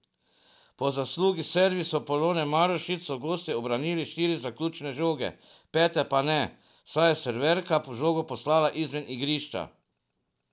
Po zaslugi servisov Polone Marušič so gostje ubranile štiri zaključne žoge, pete pa ne, saj je serverka žogo poslala izven igrišča.